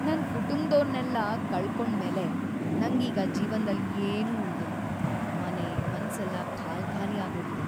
ನನ್‌ ಕುಟುಂಬ್ದೋರ್ನೆಲ್ಲ ಕಳ್ಕೊಂಡ್ಮೇಲೆ ನಂಗೀಗ ಜೀವನ್ದಲ್ಲಿ ಏನೂ ಉಳ್ದಿಲ್ಲ, ಮನೆ-ಮನ್ಸೆಲ್ಲ ಖಾಲ್ಕಾಲಿ ಆಗೋಗಿದೆ.